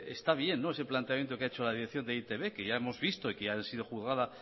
está bien ese planteamiento que ha hecho la dirección de e i te be que ya hemos visto y que ya ha sido juzgada